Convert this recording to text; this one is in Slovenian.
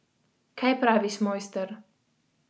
Kaj praviš, Mojster?